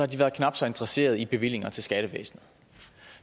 de været knap så interesseret i bevillinger til skattevæsenet